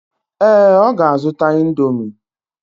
ee, ọ ga-azụta Indomi.